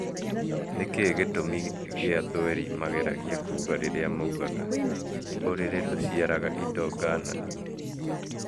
Nĩkĩĩ gĩtũmi gĩa thweri mageragia kuga rĩrĩa maugaga " ũrĩrĩ ndũciaraga indo ngananie"